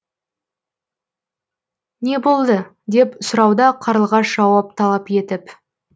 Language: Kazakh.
не болды деп сұрауда қарлығаш жауап талап етіп